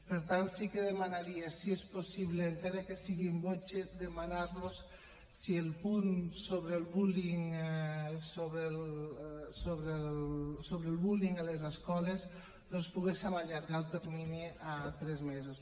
per tant sí que demanaria si és possible encara que sigui in voce demanar los si en el punt sobre el bullying a les escoles doncs en poguéssim allargar el termini a tres mesos